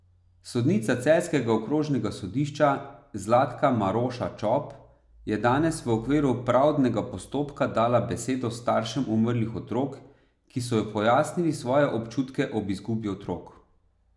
Sodnica celjskega okrožnega sodišča Zlatka Maroša Čop je danes v okviru pravdnega postopka dala besedo staršem umrlih otrok, ki so pojasnili svoje občutke ob izgubi otrok.